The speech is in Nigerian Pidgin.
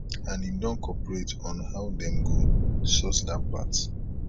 and im don cooperate on how dem go sort dat part